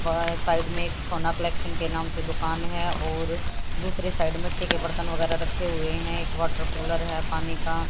बह साइड में एक सोना कलेक्शन के नाम से दुकान है और दूसरे साइड मिट्टी के बर्तन वगैरा रखे हुए हैं एक वाटर कूलर है पानी का।